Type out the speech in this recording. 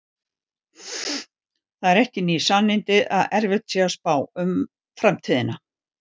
Það eru ekki ný sannindi að erfitt sé að spá um framtíðina.